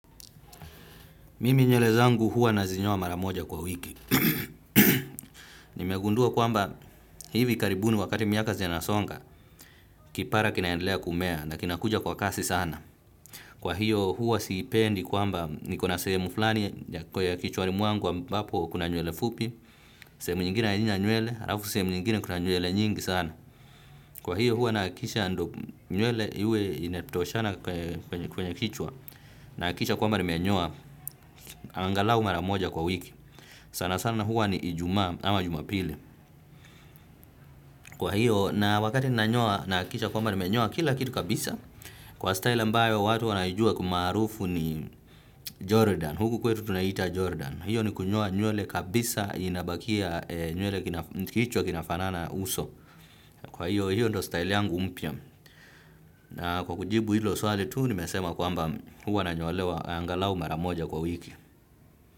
Mimi nywele zangu huwa nazinyoa mara moja kwa wiki. Nimegundua kwamba hivi karibuni wakati miaka zinasonga, kipara kinaendelea kumea na kinakuja kwa kasi sana. Kwa hiyo huwa siipendi kwamba niko na semu flani kwa ya kichwani mwangu ambapo kuna nywele fupi, semu nyingine halina nywele, alafu sehemu nyingine kuna nywele nyingi sana. Kwa hiyo huwa nahakikisha ndio nywele iwe inatoshana kwenye kichwa, nahakikisha kwamba nimenyoa, angalau mara moja kwa wiki. Sana sana huwa ni ijumaa ama jumapili. Kwa hiyo na wakati ninanyoa nahakikisha kwamba nimenyoa kila kitu kabisa. Kwa style ambayo watu wanaijua kimaarufu ni Jordan. Huku kwetu tunaita Jordan. Hiyo ni kunyoa nywele kabisa inabakia nywele kichwa kinafanana uso. Kwa hiyo hiyo ndo style yangu mpya. Na kwa kujibu hilo swali tu nimesema kwamba huwa nanyolewa angalau mara moja kwa wiki.